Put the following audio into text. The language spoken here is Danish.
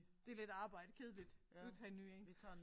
Det lidt arbejde kedeligt du tager en ny én